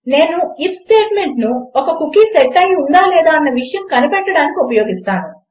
నేను ఐఎఫ్ స్టేట్మెంట్ను ఒక కుకీ సెట్ అయి ఉందా లేదా అన్న విషయం కనిపెట్టడానికి ఉపయోగిస్తాను